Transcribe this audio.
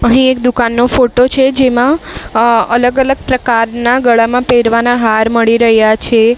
અહીં એક દુકાનનો ફોટો છે જેમાં અ અલગ અલગ પ્રકારના ગળામાં પહેરવાના હાર મળી રહ્યા છે.